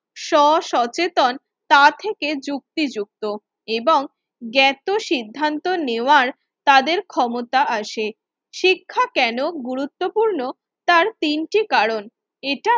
স্ব সচেতন তা থেকে যুক্তিযুক্ত এবং জ্ঞাত সিন্ধান্ত নেওয়ার তাদের ক্ষমতা আসে। শিক্ষা কেন গুরুত্বপূর্ণ তার তিনটি কারণ, এটা